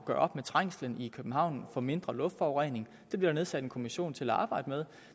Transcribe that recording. gøre op med trængslen i københavn og få mindre luftforurening det bliver der nedsat en kommission til at arbejde med